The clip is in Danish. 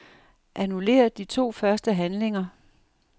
Annullér de to første handlinger.